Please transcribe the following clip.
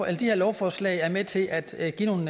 at de her lovforslag er med til at give nogle